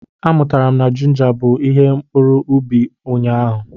Amụtara m na jinja bụ ihe mkpuru ubi ụnyaahụ.